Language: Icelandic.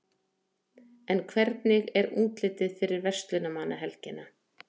en hvernig er útlitið fyrir verslunarmannahelgina